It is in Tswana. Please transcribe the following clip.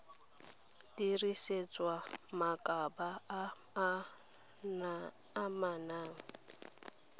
dirisetswa mabaka a a amanang